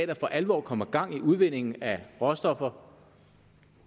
der for alvor kommer gang i udvindingen af råstoffer